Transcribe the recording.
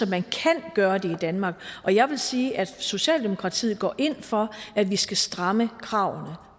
man kan gøre det i danmark jeg vil sige at socialdemokratiet går ind for at vi skal stramme kravene